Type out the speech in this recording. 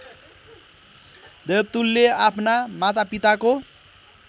देवतुल्य आफ्ना मातापिताको